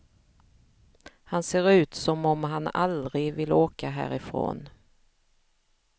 Han ser ut som om han aldrig vill åka härifrån.